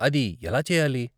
అది ఎలా చెయ్యాలి?